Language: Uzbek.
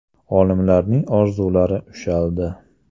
Olimlarning orzulari ushaldi.